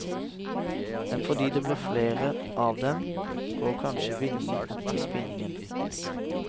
Men fordi det blir flere av dem, går kanskje vinningen opp i spinningen.